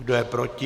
Kdo je proti?